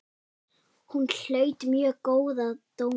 Hún hlaut mjög góða dóma.